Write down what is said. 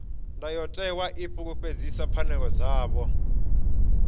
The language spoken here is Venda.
ndayotewa i fulufhedzisa pfanelo dzavho